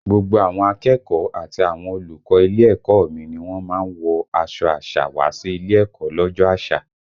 Gbogbo àwọn akẹ́kọ̀ọ́ àti àwọn olùkọ́ ilé ẹ̀kọ́ ọ mi ni wọ́n má ń wọ aṣọ àṣà wá sí ilé ẹ̀kọ́ lọ́jọ́ àṣà